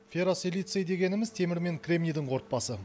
ферросилиций дегеніміз темір мен кремнийдің қорытпасы